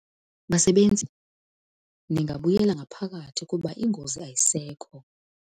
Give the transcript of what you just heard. Basebenzi! Ningabuyela ngaphakathi kuba ingozi ayisekho.